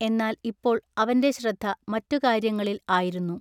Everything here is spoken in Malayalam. എന്നാൽ ഇപ്പൊൾ അവന്റെ ശ്രദ്ധ മററുകാൎയ്യങ്ങളിൽ ആയിരുന്നു.